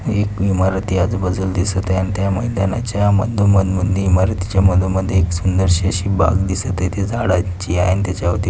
एक इमारती आजूबाजूल दिसत आहे आणि त्या मैदानाच्या मधोमंदी इमरतीच्या मधोमधी सुंदर शी अशी एक बाग दिसत आहे आणि ती झाडांची आहे. आणि त्याच्यावरती --